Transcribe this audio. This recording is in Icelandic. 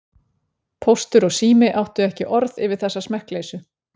Póstur og Sími áttu ekki orð yfir þessa smekkleysu.